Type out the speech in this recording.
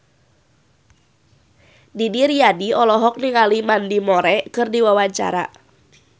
Didi Riyadi olohok ningali Mandy Moore keur diwawancara